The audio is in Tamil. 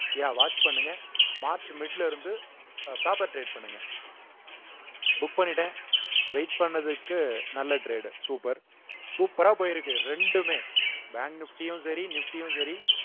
yeah watch பண்ணுங்க மார்ச் mid ல இருந்து அஹ் paper trade பண்ணுங்க book பண்ணிட்டேன் wait பண்ணதுக்கு நல்ல trade super super ஆ போயிருக்கு ரெண்டுமே bank nifty யும் சரி nifty யும் சரி